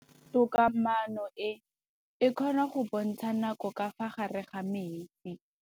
Toga-maanô e, e kgona go bontsha nakô ka fa gare ga metsi.